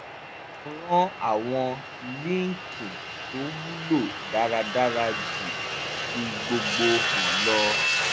mo ran àwọn líǹkì tó wúlò dáradára ju fí gbogbo hàn lọ